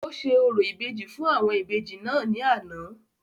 ó ṣe orò ìbejì fún àwọn Ìbejì náà ní àná